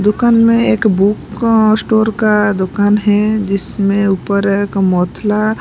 दुकान में एक बुक अ स्टोर का दुकान है जिसमें ऊपर एक मोथला --